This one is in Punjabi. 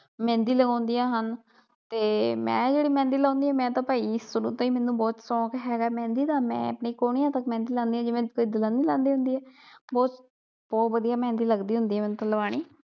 ਮਹਿੰਦੀ ਲਗਾਉਂਦੀਆ ਹਨ ਤੇ ਮੈ ਜਿਹੜੀ ਮਹਿੰਦੀ ਲਾਉਣੀ ਮੈ ਤਾ ਭਾਈ ਸ਼ੁਰੂ ਤੋਂ ਈ ਮੈਨੂੰ ਬਹੁਤ ਸ਼ੋਂਕ ਹੇਗਾ ਏ ਮਹਿੰਦੀ ਦਾ ਮੈ ਆਪਣੇ ਕੂਹਣੀਆਂ ਤਕ ਮਹਿੰਦੀ ਲਾਉਣੀ ਹੁਨੀ ਜਿਵੇ ਕੋਈ ਦੁਲਹਨ ਨਹੀਂ ਲਾਉਂਦੀ ਹੁੰਦੀ ਏ ਬਹੁਤ ਬਹੁਤ ਵਧੀਆ ਮਹਿੰਦੀ ਲਗਦੀ ਹੁੰਦੀ ਏ ਮੈਨੂੰ ਤਾ ਲਵਾਨੀ।